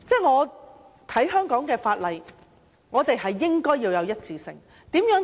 我認為香港法例應該具備一致性。